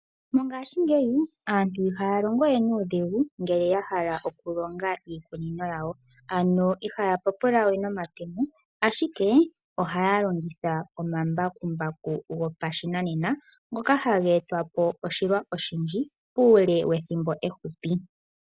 Mongaashingeyi aantu ihaya longo we nuudhigu ngele ya hala okulonga iikunino yawo , ano ihaya papula we nomatemo ashike ohaya longitha omambakumbaku gopashinanena ngoka haga eta po oshilwa oshindji uule wethimbo efupi.